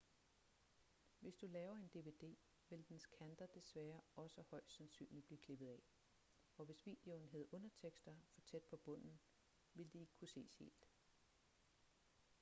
hvis du laver en dvd vil dens kanter desværre også højst sandsynligt blive klippet af og hvis videoen havde undertekster for tæt på bunden ville de ikke kunne ses helt